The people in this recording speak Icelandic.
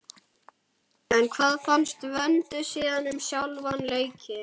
En hvað fannst Vöndu síðan um sjálfan leikinn?